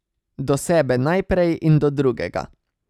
Do sebe najprej in do drugega.